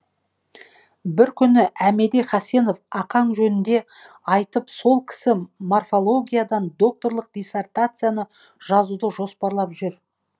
бір күні әмеди хасенов ақаң жөнінде айтып сол кісі морфологиядан докторлық диссертация жазуды жоспарлап жүр